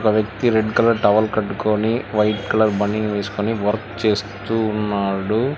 ఒక వ్యక్తి red colour towel కట్టుకొని వైట్ కలర్ బనీన్ వేసుకొని వర్క్ చేస్తూ ఉన్నాడు.